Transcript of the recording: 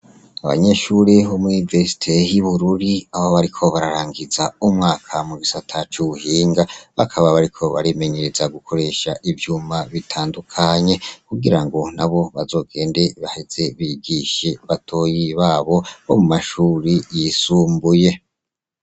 Abanyeshuri homwivesite hi bururi abo bariko bararangiza umwaka mu bisata c'uwubuhinga bakaba bariko barimenyereza gukoresha ivyuma bitandukanye kugira ngo na bo bazogende baheze bigishi batoyi babo bo mu mashuri yisumbuye.